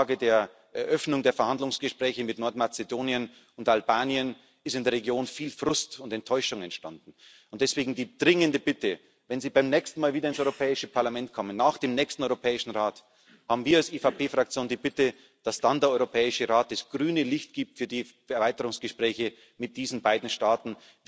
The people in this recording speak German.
Mit der Absage der Eröffnung der Verhandlungsgespräche mit Nordmazedonien und Albanien ist in der Region viel Frust und Enttäuschung entstanden, und deswegen die dringende Bitte Wenn Sie beim nächsten Mal wieder ins Europäische Parlament kommen, nach dem nächsten Europäischen Rat, haben wir als EVP Fraktion die Bitte, dass dann der Europäische Rat das grüne Licht gibt für die Erweiterungsgespräche mit diesen beiden Staaten.